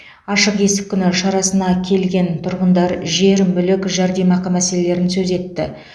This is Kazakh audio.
ашық есік күні шарасына келген тұрғындар жер мүлік жәрдемақы мәселелерін сөз етті